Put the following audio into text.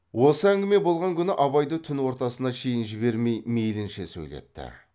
осы әңгіме болған күні абайды түн ортасына шейін жібермей мейлінше сөйлетті